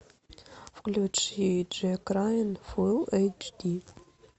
включи джек райен фул эйч ди